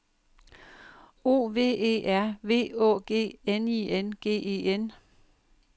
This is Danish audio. O V E R V Å G N I N G E N